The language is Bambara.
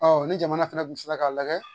Ɔ ni jamana fɛnɛ kun sera k'a lajɛ